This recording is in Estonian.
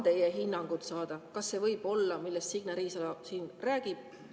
Tahan teie hinnangut saada, kas see, millest Signe Riisalo siin räägib, võib olla …